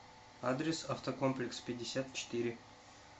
адрес автокомплекс пятьдесят четыре